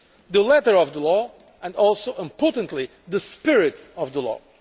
the letter of the law and also, importantly, the spirit of the law.